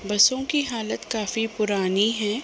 बसों की हालत काफी पुरानी है।